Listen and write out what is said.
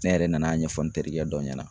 Ne yɛrɛ nan'a ɲɛfɔ n terikɛ dɔ ɲɛna